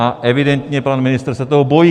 A evidentně pan ministr se toho bojí.